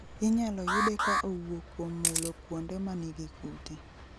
Inyalo yude ka owuok kuom mulo kuonde ma nigi kute